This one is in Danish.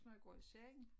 Når jeg går i seng